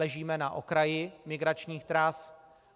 Ležíme na okraji migračních tras.